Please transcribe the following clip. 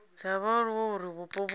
dza vhaaluwa uri vhupo vhu